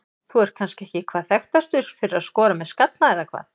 Þú ert kannski ekki hvað þekktastur fyrir að skora með skalla eða hvað?